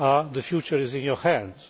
The future is in your hands.